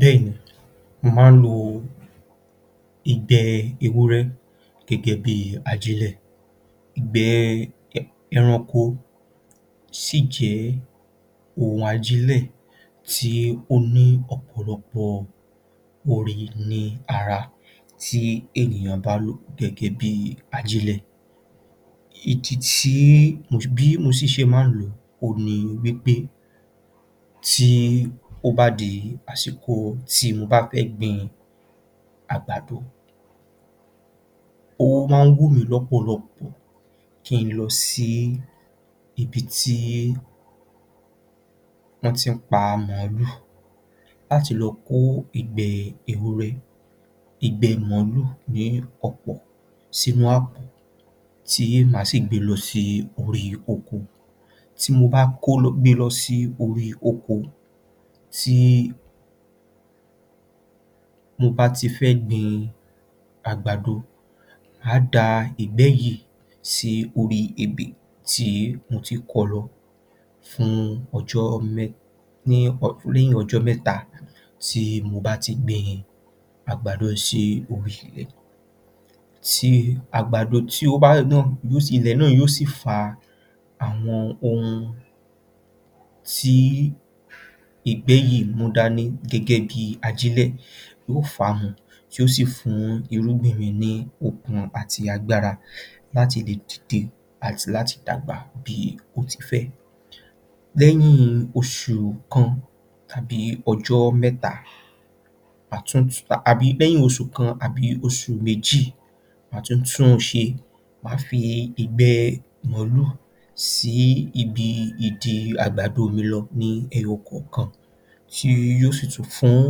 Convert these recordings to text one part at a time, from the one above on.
Bẹ́ẹ̀ ni, mo máa ń lo ìgbẹ́ ewúrẹ́ gẹ́gẹ́ bí ajílẹ̀, ìgbẹ́ ẹranko, ó sì jẹ́ ohun ajílẹ̀ tí ó ní ọ̀pọ̀lọpọ̀ oore ní ara tí ènìyàn bá lò ó gẹ́gẹ́ bí ajílẹ̀, ìdí tí, bí mo ṣe máa ń lò ó òhun ni wí pé tó bá di àsìkò tí mo bá fẹ́ gbin àgbàdo, ó máa ń wù mí lọ́pọ̀lọpọ̀ kí ń lọ sí ibi tí wọ́n ti ń pa mọ̀ọ́lù láti lọ kó ìgbẹ́ ewúrẹ́, ìgbẹ́ mọ̀ọ́lù láti lọ ko ní ọ̀pọ̀lọpọ̀ sínú àpọ̀ tí mà á si gbe lọ sí orí oko tí mo bá gbe lọ sí orí oko tí mo bá ti fẹ́ gbin àgbàdo, màá da ìgbẹ́ yìí sí orí ebè tí mo ti kọ lọ fún ọjọ́ mẹ́ta, ní, lẹ́yìn ọjọ́ mẹ́ta tí mo bá ti gbin àgbàdo sí orí ilẹ̀, àgbàdo náà, tí, ilẹ̀ náà yóò si fa ohun tí ìgbẹ́ yìí mú dání gẹ́gẹ́ bí ajílẹ̀ yóò fà á mu yóò sì fún irúgbìn mi ni okun ati agbára láti lè dìde àti láti dàgbà bí ó ti fẹ́. Lẹ́yìn oṣù kan tàbí ọjọ́ mẹ́ta, àbí lẹ́yìn oṣù kan tàbí oṣù méjì, mà á tún ń ṣe, mà á fi ìgbẹ́ mọ̀ọ́lù sí ibi ìdí àgbàdo lọ ní ẹyọ kọ̀ọ̀kan tí yóò sì tún fún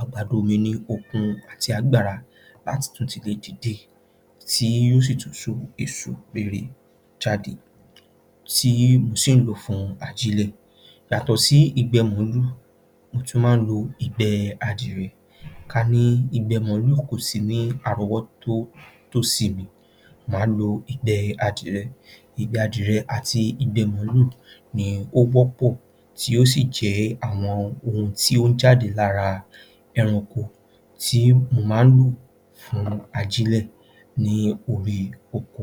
àgbàdo mi ní okun àti agbára láti tún lè dìde tí yóò tún so èso rere jáde, tí mo sì ń lò ó fún ajílẹ̀. Yàtọ̀ sí ìgbẹ́ mọ̀ọ́lù, mo tún máa ń lo ìgbẹ́ adìrẹ, ká ní ìgbẹ́ mọ̀ọ́lù kò sí ní àròwọ́tọ́, tòsí mi, mà á lo ìgbẹ́ adìrẹ àti mọ̀ọ́lù ni ó wọ́pọ̀ tí ó sì jẹ́ àwọn ohun tí ó ń jáde lára ẹranko tí mo máa ń lò fún ajílẹ̀ lórí oko.